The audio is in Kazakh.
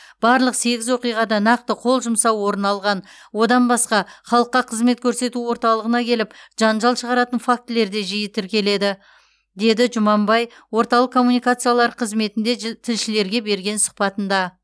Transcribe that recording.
барлық сегіз оқиғада нақты қол жұмсау орын алған одан басқа халыққа қызмет көрсету орталығына келіп жанжал шығаратын фактілер де жиі тіркеледі деді м жұманбай орталық коммуникациялар қызметінде ж тілшілерге берген сұхбатында